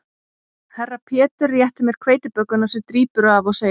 Herra Pétur réttir mér hveitibökuna sem drýpur af og segir